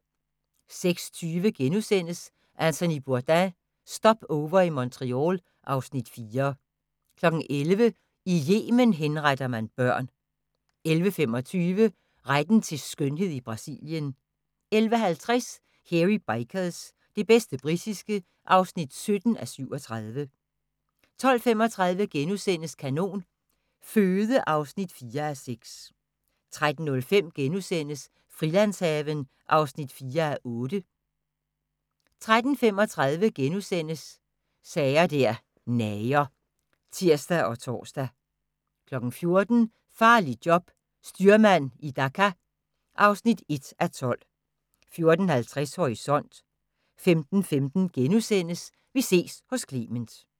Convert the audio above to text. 06:20: Anthony Bourdain – Stopover i Montreal (Afs. 4)* 11:00: I Yemen henretter man børn 11:25: Retten til skønhed i Brasilien 11:50: Hairy Bikers – det bedste britiske (17:37) 12:35: Kanon Føde (4:6)* 13:05: Frilandshaven (4:8)* 13:35: Sager der nager *(tir og tor) 14:00: Farligt job – styrmand i Dhaka (1:12) 14:50: Horisont 15:15: Vi ses hos Clement *